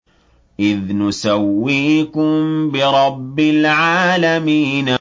إِذْ نُسَوِّيكُم بِرَبِّ الْعَالَمِينَ